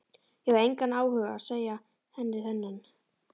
Ég hafði engan áhuga á að segja henni þennan.